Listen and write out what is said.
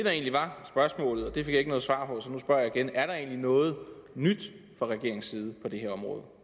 fik jeg ikke noget svar på så nu spørger jeg igen er der egentlig noget nyt fra regeringens side på det her område